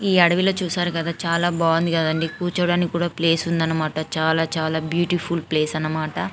ఈ అడవిలో చూశారు కదా చాలా బాగుంది కదండీ కూర్చోడానికి కూడా ప్లేస్ ఉంది అనమాట చాలా చాలా బ్యూటిఫుల్ ప్లేస్ అన్నమాట --